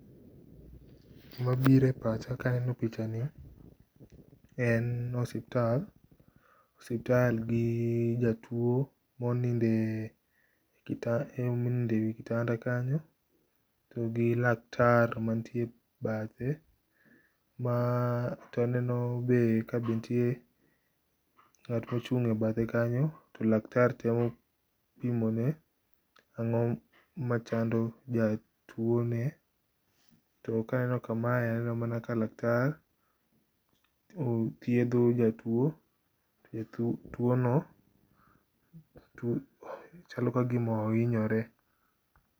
Gima biro e pacha ka aneno picha ni. En osiptal. Osiptal gi jatuo monindo e wi kitanda kanyo. To gi laktar mantie bathe ma to aneno be kanitie ng'at mochung' e bathe kanyo. To laktar temo pimone ango machando jatuone. To kaneno kame to aneno mana ka laktar thiedho jatuo, Jatuo no chalo kagima ohinyore.